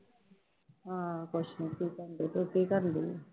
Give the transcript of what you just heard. ਹਾਂ ਕੁਛ ਨੀ ਤੂੰ ਕੀ ਕਰਨਡੀ ਹੈ?